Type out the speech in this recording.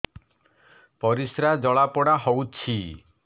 ପରିସ୍ରା ଜଳାପୋଡା ହଉଛି